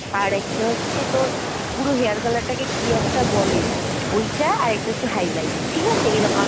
আরেকটা হচ্ছে তোর পুরো hair color টাকে কি একটা বলে ঐটা আরেকটা হচ্ছে highlight ঠিকাছে?